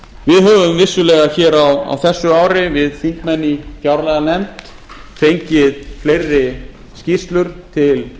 við höfum vissulega hér á þessu ári við þingmenn í fjárlaganefnd fengið fleiri skýrslur til